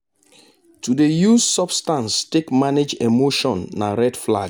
to dey use substance take manage emotion na red flag.